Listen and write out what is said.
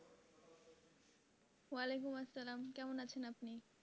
আলাইকুম আসসালাম কেমন আছেন আপনি?